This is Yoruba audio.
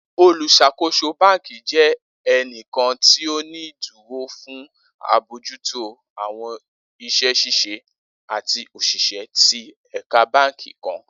Oluṣakoso banki jẹ ẹni kọọkan ti o ni iduro fun abojuto awọn iṣẹ ṣiṣe ati oṣiṣẹ ti ẹka banki kan.